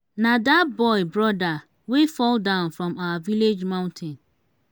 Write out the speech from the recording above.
na dat boy broda wey fall down from our village mountain.